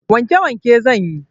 Wanke wanke zanyi